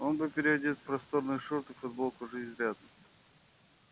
он был переодет в просторные шорты и футболку уже изрядно